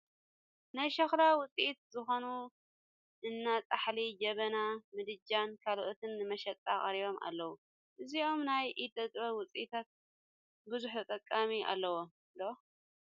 ናይ ሸኽላ ውፅኢት ዝኾኑ እኒ ፃሕሊ፣ ጀበና፣ ምድጃን ካልኦትን ንመሸጣ ቀሪቦም ኣለዉ፡፡ እዞም ናይ ኢደ ጥበብ ውፅኢታት ብዙሕ ተጠቃሚ ኣለዎም ዶ?